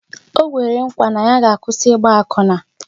O kwere nkwa na ya ga-akwụsi Ịgba akwụna